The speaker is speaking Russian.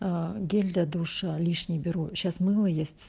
гель для душа лишний беру сейчас мыло есть